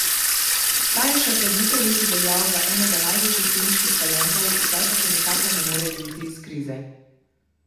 Ta je še pred nekaj leti veljal za enega največjih teniških talentov, zdaj pa se nikakor ne more izviti iz krize.